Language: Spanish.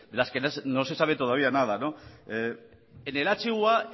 las que no se sabe todavía nada en el hua